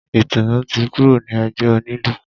Ìtùnú ti kúrò ní ẹgbẹ́ onílù.